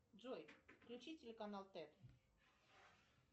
джой включи телеканал тет